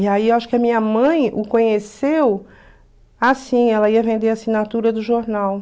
E aí acho que a minha mãe o conheceu assim, ela ia vender a assinatura do jornal.